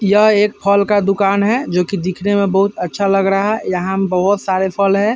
यह एक फल का दुकान है जो कि दिखने मे बोहोत अच्छा लग रहा है। यहाँ बोहोत सारे फल है।